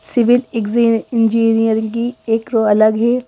Civil engineering की एक रो अलग है।